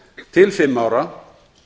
til fimm ára